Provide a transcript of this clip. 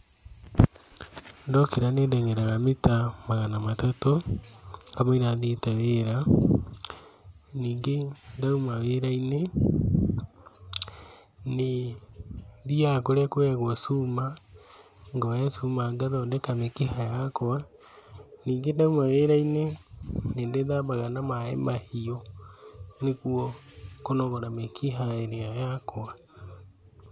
Ndokĩra nĩ ndeng'eraga mita magana matatũ, kamũira thiĩte wĩra, ningĩ ndauma wĩra-inĩ, nĩ thiaga kũrĩa kuoyagwo cuma, ngoya cuma ngathondeka mĩkiha yakwa, ningĩ ndauma wĩra-inĩ, nĩ ndĩthambaga na maĩ mahiũ nĩguo kũnogora mĩkiha ĩrĩa yakwa.